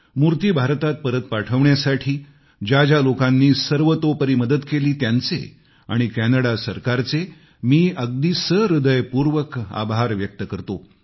मूर्ती भारतात परत पाठवण्यासाठी ज्या ज्या लोकांनी सर्वतोपरी मदत केली त्यांचे आणि कॅनडा सरकारचे मी अगदी सहृदयपूर्वक आभार व्यक्त करतो